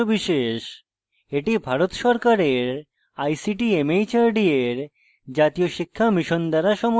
এটি ভারত সরকারের ict mhrd এর জাতীয় শিক্ষা mission দ্বারা সমর্থিত